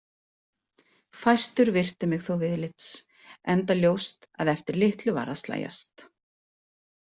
Fæstir virtu mig þó viðlits, enda ljóst að eftir litlu var að slægjast.